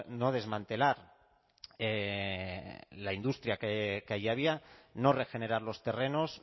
no desmantelar la industria que allí había no regenerar los terrenos